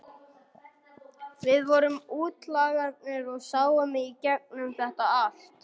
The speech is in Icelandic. Við vorum útlagarnir og sáum í gegnum þetta allt.